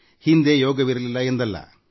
ಹಿಂದೆ ಯೋಗ ಇರಲಿಲ್ಲ ಎಂದಲ್ಲ